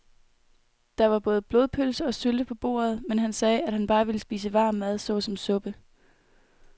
Der var både blodpølse og sylte på bordet, men han sagde, at han bare ville spise varm mad såsom suppe.